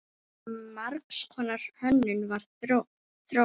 Margs konar hönnun var þróuð.